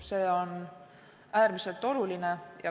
See on äärmiselt oluline.